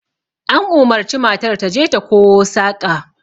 An umarci matar ta je ta kowo saƙa